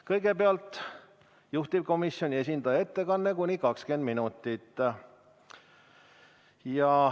Kõigepealt on juhtivkomisjoni esindaja ettekanne kuni 20 minutit.